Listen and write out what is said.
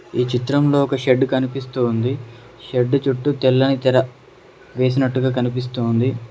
ఈ చిత్రంలో ఒక షెడ్డు కనిపిస్తోంది షెడ్డు చుట్టూ తెల్లని తెర వేసినట్టుగా కనిపిస్తోంది.